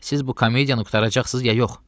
Siz bu komediyanı qurtaracaqsınız, ya yox?